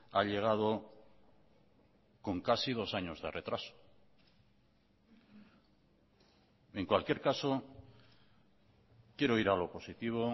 ha llegado con casi dos años de retraso en cualquier caso quiero ir a lo positivo